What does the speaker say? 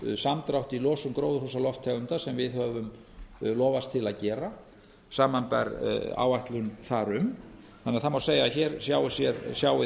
um samdrátt í losun gróðurhúsalofttegunda sem við höfum lofast til að gera samanber áætlun þar um þannig að það má segja að hér sjái